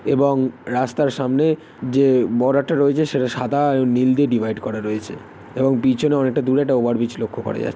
এবং রাস্তার সামনে যে বড় একটা রয়েছে সেটা সাদা ও নীল দিয়ে ডিভাইড করা রয়েছে এবং পিছনে অনেকটা দূরে একটা ওভারব্রীজ লক্ষ্য করা যা--